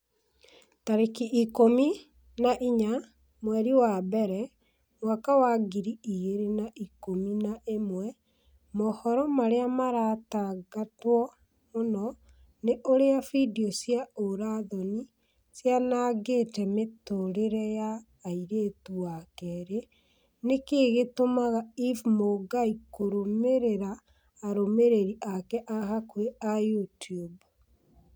tarĩki ikũmi na inya mweri wa mbere mwaka wa ngiri igĩrĩ na ikũmi na ĩmwe mohoro marĩa maratangatwo mũno ni ũrĩa findio cia ũũra-thoni cianangĩte mĩtũrĩre ya airĩtu wa kerĩ nĩkĩĩ gĩtũmaga eve mũngai kũrũmĩrĩra arũmĩrĩri ake a hakuhi a YouTUBE